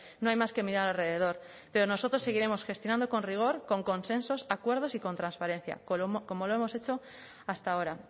no hay más que mirar alrededor pero nosotros seguiremos gestionando con rigor con consensos acuerdos y con transparencia como lo hemos hecho hasta ahora